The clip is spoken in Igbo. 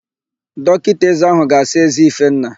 Dọkịta ézé áhụ̀ ga-asa ézé Ifenna.